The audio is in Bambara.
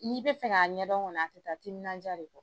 N'i bɛ fɛ k'a ɲɛdɔn kɔni, a tɛ taa timinandiya de kɔ